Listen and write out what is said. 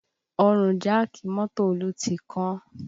Ọrùn jáàkì mọ́tò Olú ti kán